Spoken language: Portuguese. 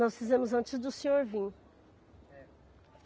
Nós fizemos antes do senhor vir. É